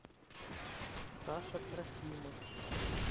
саша трофимов